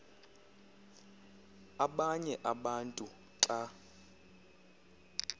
abanye abantu xa